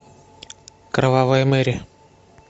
кровавая мэри